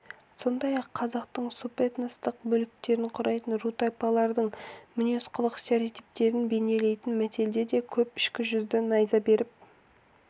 сондай-ақ қазақтың субэтностық бөліктерін құрайтын ру-тайпалардың мінез-құлық стереотиптерін бейнелейтін мәтелдер де көп кіші жүзді найза беріп